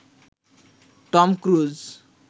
Tom cruise